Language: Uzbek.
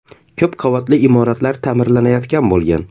Ko‘p qavatli uylar ta’mirlanayotgan bo‘lgan.